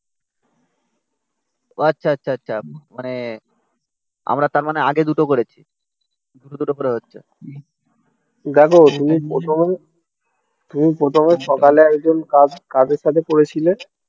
আচ্ছা আচ্ছা আচ্ছা মানে আমরা তার মানে আগে দুটো করেছি. দুটো দুটো করে হচ্ছে দেখো তুমি প্রথমে তুমি প্রথমে সকালে একজন কাদের সাথে পড়েছিলে.